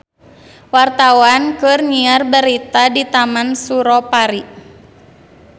Wartawan keur nyiar berita di Taman Suropari